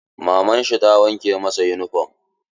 Maman shi ta wanke masa yunifom.